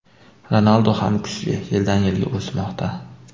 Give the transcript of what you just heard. Ronaldu ham kuchli, yildan-yilga o‘smoqda.